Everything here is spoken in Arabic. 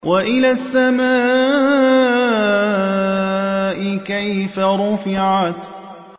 وَإِلَى السَّمَاءِ كَيْفَ رُفِعَتْ